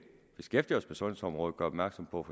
beskæftiger os med sundhedsområdet gøre opmærksom på